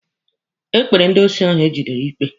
Ekpere ndị osi ahụ egidere ikpe.